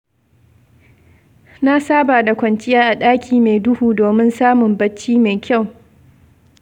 Na saba da kwanciya a ɗaki mai duhu domin samun bacci mai kyau.